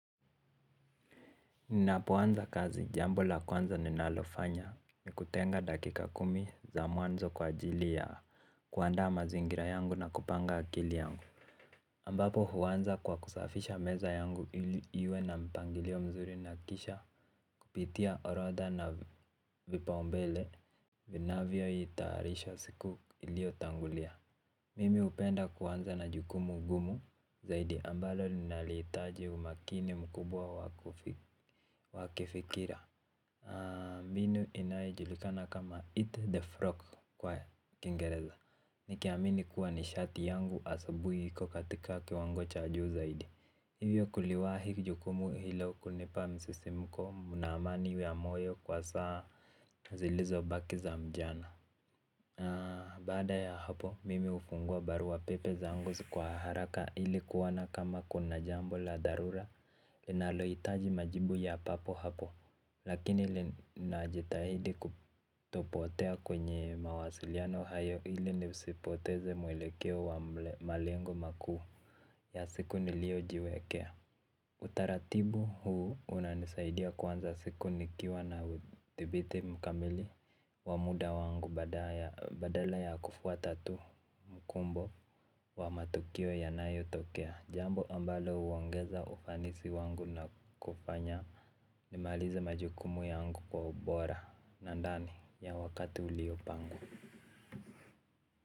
Ninapoanza kazi jambo la kwanza ninalofanya ni kutenga dakika kumi za mwanzo kwa ajili ya kuanda mazingira yangu na kupanga akili yangu ambapo huwanza kwa kusafisha meza yangu ili iwe na mpangilio mzuri na kisha kupitia orodha na vipaumbele vinavyo itaarisha siku ilio tangulia. Mimi upenda kuanza na jukumu gumu zaidi ambalo linalitaji umakini mkubwa wakifikira binu inaojulikana kama eat the frog kwa ya kingereza. Nikiamini kuwa nishati yangu asabui kukatika kiwango cha juu zaidi. Hivyo kuliwahi jukumu hilo kunipa msisimuko mna amani ya moyo kwa saa zilizo baki za mjana. Haa baada ya hapo mimi ufungua barua pepe zangu kwa haraka ili kuona kama kuna jambo la dharura linaloitaji majibu ya papo hapo. Lakini linajitahidi kutopotea kwenye mawasiliano hayo ili nisipoteze mwelekeo wa malengo makuu ya siku nilio jiwekea. Utaratibu huu unanisaidia kuanza siku nikiwa na udibithi mkamili wa muda wangu badala ya kufuata tu mkumbo wa matukio yanayo tokea. Jambo ambalo uongeza ufanisi wangu na kufanya nimaliza majukumu yangu kwa ubora na ndani ya wakati uliopangwa.